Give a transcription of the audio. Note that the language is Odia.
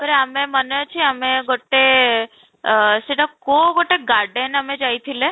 ପରେ ଆମେ ମାନେ ଛି ଆମେ ଗୋଟେ ଅଃ ସେଇଟା କୋଉ ଗୋଟେ garden ଆମେ ଯାଇଥିଲେ?